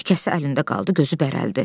Tikəsi əlində qaldı, gözü bərələdi.